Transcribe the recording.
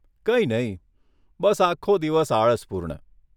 કંઈ નહીં. બસ આખો દિવસ આળસપૂર્ણ.